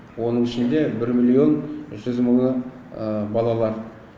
оның ішінде бір миллион жүз мыңы балалар